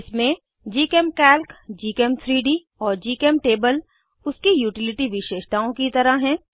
इसमें जीचेमकाल्क gchem3डी और जीचेमटेबल उसके यूटिलिटी विशेषताओं की तरह हैं